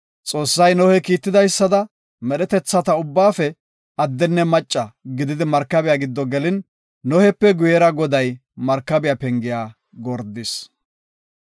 Xoossay Nohe kiitidaysada, medhetetha ubbaafe addenne macca gididi markabiya giddo gelin Nohepe guyera Goday markabiya pengiya gordis.